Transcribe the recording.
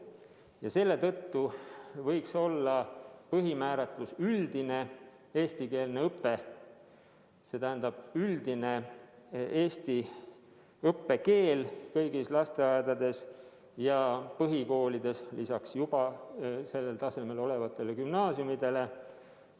Ja selle tõttu võiks põhimääratluseks olla üldine eestikeelne õpe, see tähendab üldist eesti õppekeelt kõigis lasteaedades ja põhikoolides lisaks juba sellel tasemel olevatele gümnaasiumidele.